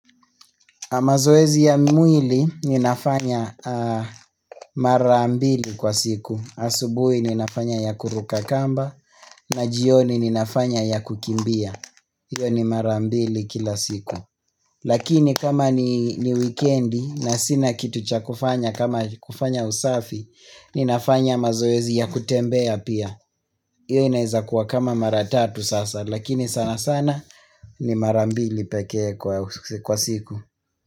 Mazoezi ya mwili ninafanya marambili kwa siku. Asubuhi ninafanya ya kuruka kamba na jioni ninafanya ya kukimbia. Hiyo ni marambili kila siku. Lakini kama ni wikendi na sina kitu cha kufanya kama kufanya usafi, ninafanya mazoezi ya kutembea pia. Hiyo inaweza kuwa kama maratatu sasa, lakini sana sana ni marambili pekee kwa siku.